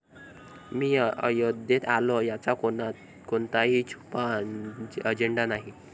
मी अयोध्येत आलो यात कोणताही छुपा अजेंडा नाही